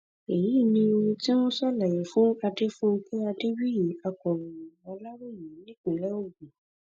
èyí ni ohun tí wọn ṣàlàyé fún adefunké adébíyì akọròyìn aláròye nípínlẹ ogun